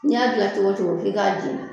N'i y'a dilan cogo cogo f'i k'a jeni